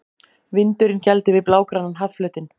Vindurinn gældi við blágrænan hafflötinn.